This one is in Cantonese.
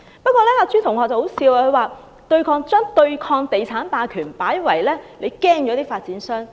可笑的是，朱同學把對抗地產霸權說成是怕了發展商。